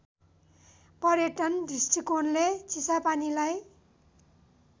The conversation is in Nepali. पर्यटन दृष्टिकोणले चिसापानीलाई